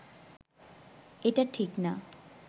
এটা ঠিক না